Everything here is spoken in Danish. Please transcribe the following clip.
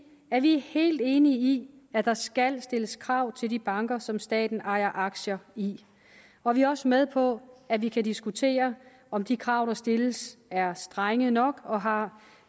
at vi helt enige i at der skal stilles krav til de banker som staten ejer aktier i og vi er også med på at vi kan diskutere om de krav der stilles er strenge nok og har